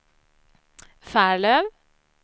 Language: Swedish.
Färlöv